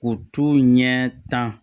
O t'o ɲɛ tan